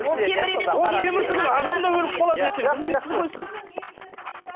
ол темір емес ол темір түгілі адам да өліп қалады ертең білмейсіз ғой сіз